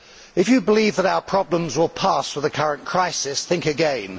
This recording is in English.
If you believe that our problems will pass with the current crisis, think again.